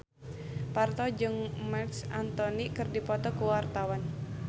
Parto jeung Marc Anthony keur dipoto ku wartawan